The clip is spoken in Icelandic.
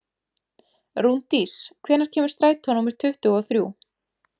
Rúndís, hvenær kemur strætó númer tuttugu og þrjú?